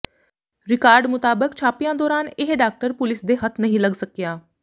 record ਮੁਤਾਬਕ ਛਾਪਿਆਂ ਦੌਰਾਨ ਇਹ ਡਾਕਟਰ ਪੁਲੀਸ ਦੇ ਹੱਥ ਨਹੀਂ ਲੱਗ ਸਕਿਆ